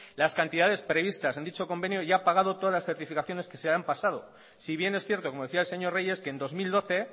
las cantidades previstas en dicho convenio y ha pagado todas las certificaciones que se han pasado si bien es cierto como decía el señor reyes que en dos mil doce